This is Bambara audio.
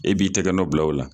E b'i tɛgɛ nɔ bila o la.